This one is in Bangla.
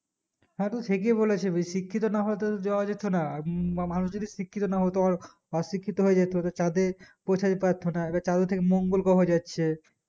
হ্যাঁ তুই ঠিকই বলেছিস শিক্ষিত না হলে তো দেওয়া যেত না মানুষ যদি শিক্ষিত না হতো অশিক্ষিত হয়ে যেত তো চাঁদে পৌঁছাতে পারতো না এবার চাঁদে থেকে মঙ্গোল গ্রহ যাচ্ছে